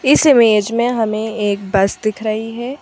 इस इमेज में हमें एक बस दिख रही है।